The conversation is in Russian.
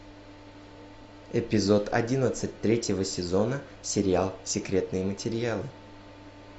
эпизод одиннадцать третьего сезона сериал секретные материалы